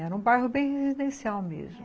Era um bairro bem residencial mesmo.